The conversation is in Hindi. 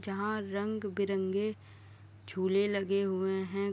जहाँ रंग-बिरंगे झूले लगे हुए हैं।